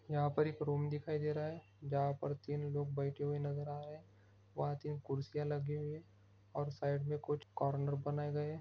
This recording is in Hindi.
यहाँ पर एक रूम दिखाई दे रहा हे जहाँ पर तीन लोग बैठे हुए नजर आ रहे है वहाँ तीन कुर्सियाँ लगि हुई है और साइड मे कुछ कॉर्नर बनाए गए हे।